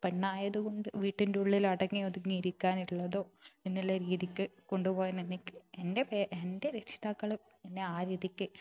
പെണ്ണായതുകൊണ്ട് വീട്ടിന്റുള്ളിൽ അടങ്ങി ഒതുങ്ങി ഇരിക്കാനുള്ളതോ എന്നുള്ള രീതിക്ക് കൊണ്ട് പോകാൻ എന്നെ കി എന്റെ പാ എന്റെ രക്ഷിതാക്കൾ എന്നെ ആ രീതിക്ക്